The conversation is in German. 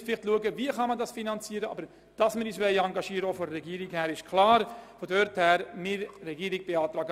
In welcher Form sich der Kanton engagiert, muss noch näher betrachtet werden, aber,